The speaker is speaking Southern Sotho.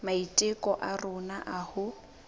maiteko a rona a ho